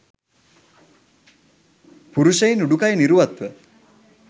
පුරුෂයින් උඩුකය නිරුවත්ව